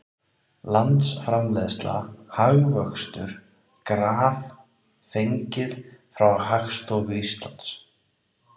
Landsframleiðsla, hagvöxtur, graf fengið frá Hagstofu Íslands.